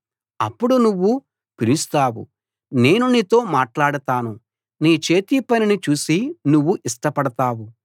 అప్పుడు నువ్వు పిలుస్తావు నేను నీతో మాట్లాడతాను నీ చేతిపనిని చూసి నువ్వు ఇష్టపడతావు